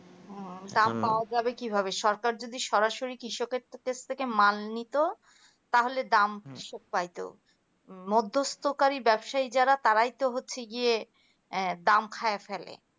হুম দাম পাওয়া যাবে কিভাবে সরকার যদি সরাসরি কৃষকের থেকে মাল নিত তাহলে দাম সে পাইতো মধ্যস্থকারী ব্যবসায়ী যার তারাই তো হচ্ছে গিয়ে দাম খাইয়া ফেলে